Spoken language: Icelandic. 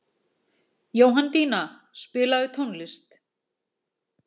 Jóhanndína, spilaðu tónlist.